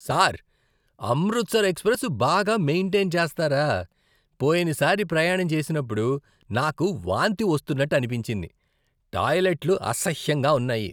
Sir, Amritsar express బాగా maintain చేస్తారా? పోయినసారి ప్రయాణం చేసినప్పుడు నాకు వాంతి వస్తున్నట్టు అనిపించింది. టాయిలెట్లు అసహ్యంగా ఉన్నాయి.